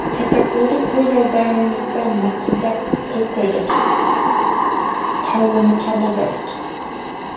протоколды көз алдарыңызда мақұлдап қол қойдық қаулыны қабылдадық